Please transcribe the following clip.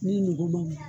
Ni nogo ma ɲi